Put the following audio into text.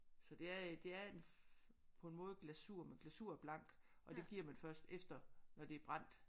Så det er det er på en måde glasur man men glasur er blank og det giver man først efter når det er brændt